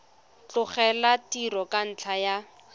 tlogela tiro ka ntlha ya